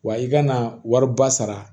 Wa i kana wariba sara